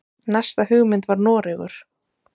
Næsta hugmynd var Noregur.